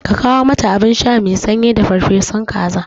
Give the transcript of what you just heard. Ka kawo mata abinsha mai sanyi da farfesu kaza